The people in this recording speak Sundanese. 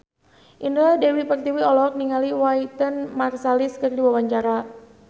Indah Dewi Pertiwi olohok ningali Wynton Marsalis keur diwawancara